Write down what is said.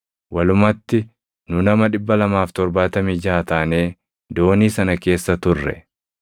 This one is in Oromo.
Walumatti nu nama 276 taanee doonii sana keessa ture.